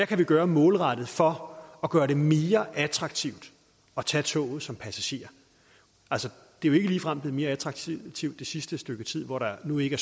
kan gøre målrettet for at gøre det mere attraktivt at tage toget som passager det er jo ikke ligefrem blevet mere attraktivt det sidste stykke tid hvor der nu ikke